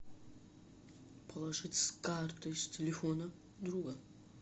положить с карты с телефона друга